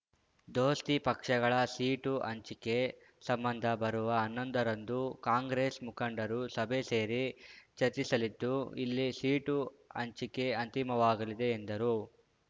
ದೋಸ್ತಿ ಪಕ್ಷಗಳ ಸೀಟು ಹಂಚಿಕೆ ಸಂಬಂಧ ಬರುವ ಹನ್ನೊಂದ ರಂದು ಕಾಂಗ್ರೆಸ್ ಮುಖಂಡರು ಸಭೆ ಸೇರಿ ಚರ್ಚಿಸಲಿದ್ದು ಇಲ್ಲಿ ಸೀಟು ಹಂಚಿಕೆ ಅಂತಿಮವಾಗಲಿದೆ ಎಂದರು